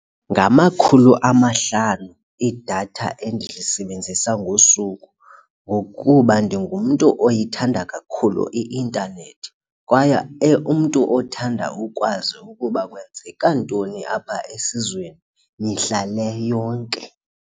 Ngamakhulu amahlanu idatha endilisebenzisa ngosuku ngokuba ndingumntu oyithanda kakhulu i-intanethi kwaye umntu othanda ukwazi ukuba kwenzeka ntoni apha esizweni mihla le yonke.